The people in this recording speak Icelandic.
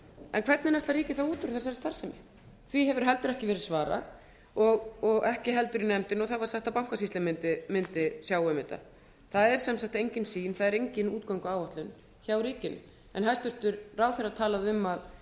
en hvernig ætlar ríkið þá út úr þessari starfsemi því hefur heldur ekki verið svarað og ekki heldur í nefndinni og það var sagt að bankasýslan mundi sjá um þetta það er sem sagt engin sýn það er engin útgönguáætlun hjá ríkinu hæstvirtur ráðherra talaði um